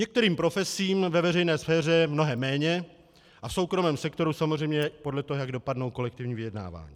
Některým profesím ve veřejné sféře mnohem méně a v soukromém sektoru samozřejmě podle toho, jak dopadnou kolektivní vyjednávání.